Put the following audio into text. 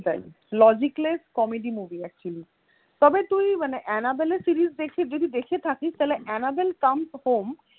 তাই logicless comedy movie actually তবে তুই মানে অ্যানাবেলের series দেখে যদি দেখে থাকিস তাহলে অ্যানাবেল come home